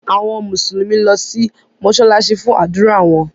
Àwọn Mùsùlùmí lọ si mósálásí fun ádùra wọn.